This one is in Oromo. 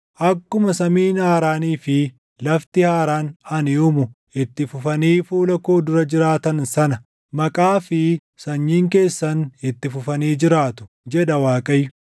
“Akkuma samiin haaraanii fi lafti haaraan ani uumu itti fufanii fuula koo dura jiraatan sana maqaa fi sanyiin keessan itti fufanii jiraatu” jedha Waaqayyo.